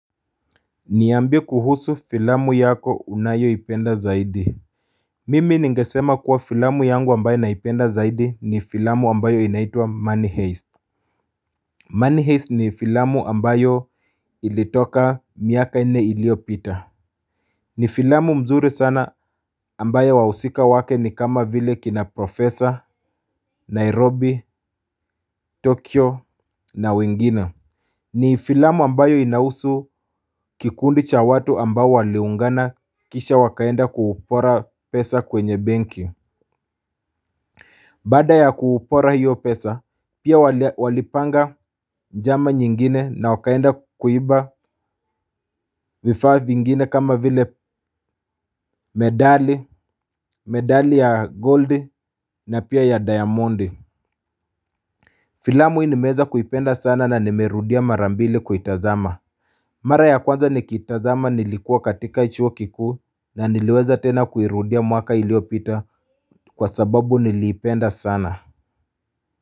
Niambie kuhusu filamu yako unayo ipenda zaidi. Mimi ningesema kuwa filamu yangu ambayo naipenda zaidi ni filamu ambayo inaitwa Money Heist Money Heist ni filamu ambayo ilitoka miaka nne ilio pita. Ni filamu nzuri sana ambayo wahusika wake ni kama vile kina professor Nairobi, Tokyo na wengine. Ni filamu ambayo inahusu kikundi cha watu ambao waliungana kisha wakaenda kuupora pesa kwenye benki. Baada ya kuupora hiyo pesa pia walipanga njama nyingine na wakaenda kuiba vifaa vingine kama vile medali ya gold na pia ya diamond. Filamu hii nimeweza kuipenda sana na nimerudia marambili kuitazama. Mara ya kwanza nikitazama nilikuwa katika chuo kikuu na niliweza tena kuirudia mwaka iliopita kwa sababu niliipenda sana.